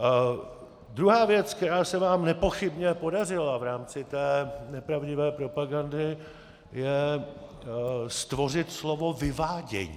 Druhá věc, která se vám nepochybně podařila v rámci té nepravdivé propagandy, je stvořit slovo "vyvádění".